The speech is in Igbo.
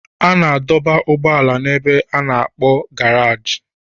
A na-adọba ụgbọala n'ebe a na-akp garagi